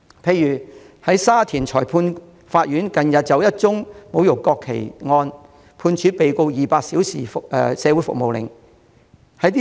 例如，沙田裁判法院近日就一宗侮辱國旗案，判處被告200小時社會服務令。